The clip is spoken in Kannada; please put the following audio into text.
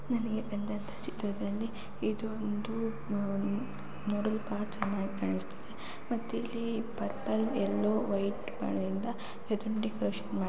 ನನಗೆ ಬಂದ ಅಂತ ಚಿತ್ರದಲ್ಲಿ ಇದು ಒಂದು ನೋಡಲು ಬಹಳ ಚೆನ್ನಾಗಿ ಕಾಣಸ್ತದೆ ಮತ್ತೆ ಇಲ್ಲಿ ಪರ್ಪಲ್‌ ವೈಟ್‌ ಎಲ್ಲೋ ಕಲರ್‌ಯಿಂದ ಇದನ್ನು ಡೆಕೋರೇಶನ್‌